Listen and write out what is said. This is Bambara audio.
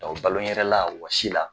balonyɛrɛla wɔsi la